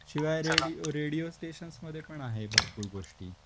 शिवाय radio radio stations मध्ये पण आहे भरपूर गोष्टी